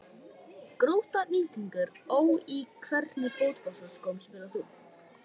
Grótta-Víkingur Ó Í hvernig fótboltaskóm spilar þú?